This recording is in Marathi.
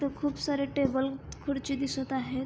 तिथे खूप सारे टेबल खुरची दिसत आहेत.